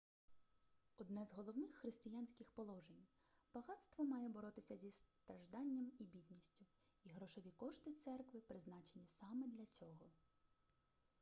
одне з головних християнських положень багатство має боротися зі стражданням і бідністю і грошові кошти церкви призначені саме для цього